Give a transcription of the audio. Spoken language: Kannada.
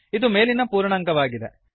ಇದು ಮೇಲಿನ ಪೂರ್ಣಾಂಕವಾಗಿದೆ